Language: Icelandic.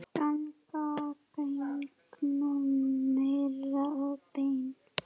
ganga gegnum merg og bein